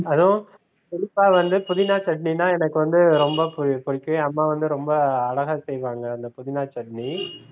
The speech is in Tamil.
அதுவும் குறிப்பாக வந்து புதினா chutney னா எனக்கு வந்து ரொம்ப பு~ புடிக்கும் என் அம்மா வந்து ரொம்ப அழகா செய்வாங்க இந்த புதினா chutney